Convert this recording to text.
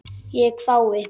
Ég hvái.